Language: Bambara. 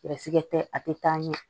Garisigɛ tɛ a tɛ taa ɲɛ